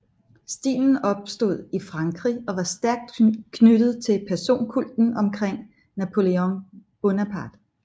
Stilen opstod i Frankrig og var stærkt knyttet til personkulten omkring Napoléon Bonaparte